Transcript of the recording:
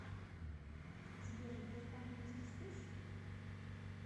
сбер сбербанк вездесущ